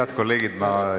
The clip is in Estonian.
Head kolleegid!